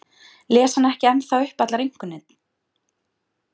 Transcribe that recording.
Les hann ekki ennþá upp allar einkunnir?